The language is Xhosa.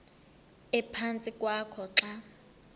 ephantsi kwakho xa